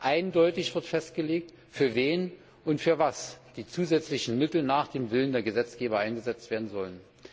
Eindeutig wird festgelegt, für wen und wofür die zusätzlichen Mittel nach dem Willen der Gesetzgeber eingesetzt werden sollen.